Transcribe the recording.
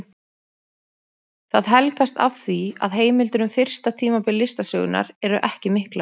Það helgast af því að heimildir um fyrsta tímabil listasögunnar eru ekki miklar.